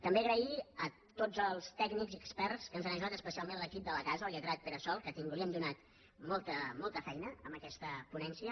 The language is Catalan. també donar les gràcies a tots els tècnics i experts que ens han ajudat especialment a l’equip de la casa el lletrat pere sol a qui hem donat molta feina amb aquesta ponència